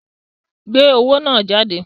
Gbé owó náà jáde!